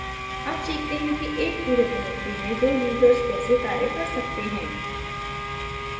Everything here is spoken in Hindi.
अब सीखते हैं कि एक ही रिपॉज़िटरी में दो users कैसे कार्य कर सकते हैं